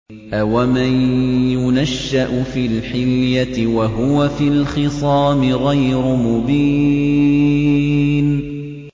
أَوَمَن يُنَشَّأُ فِي الْحِلْيَةِ وَهُوَ فِي الْخِصَامِ غَيْرُ مُبِينٍ